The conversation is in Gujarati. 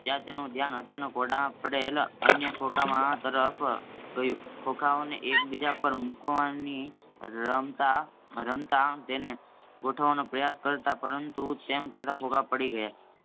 ત્યાં એનું ધ્યાન અચાનક ઓરડામાં પડેલ અન્ય ખોખાંગો તરફ ગયું. ખોખાંઓને એક્બીજા પર મૂકવાની રમતાં રમતાં તેનેગોઠવવાનો પ્રયાસ કર્યા પરંતુ તેમ કરતાં ખોખાં પડી ગયાં.